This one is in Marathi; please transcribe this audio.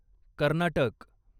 कर्नाटक